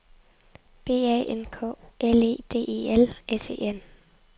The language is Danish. B A N K L E D E L S E N